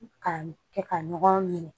Ka kɛ ka ɲɔgɔn ye